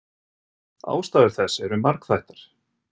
Ástæður þess eru margþættar.